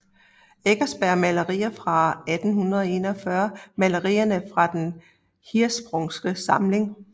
Eckersberg Malerier fra 1841 Malerier fra Den Hirschsprungske Samling